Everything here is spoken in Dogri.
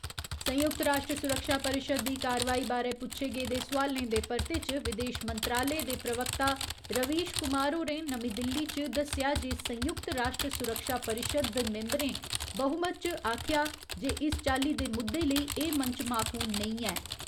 संयुक्त राश्ट्र सुरक्षा परिशद दी कार्यवाही बारे पुच्छे गेदे सोआलें दे परते च विदेश मंत्रालय दे प्रवक्ता रवीश कुमार होरें नमीं दिल्ली च दस्सेआ जे संयुक्त राश्ट्र सुरक्षा परिशद द मिंबरें बहुमत च आखेआ जे इस चाल्ली दे मुद्दे लेई एह् मंच माकूल नेईं ऐ।